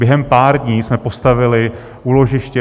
Během pár dní jsme postavili úložiště.